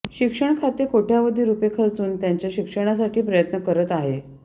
शिक्षण खाते कोट्यवधी रूपये खर्चून त्यांच्या शिक्षणासाठी प्रयत्न करत आहे